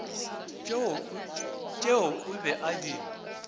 tšeo o be a di